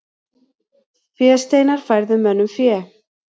Fésteinar færðu mönnum fé.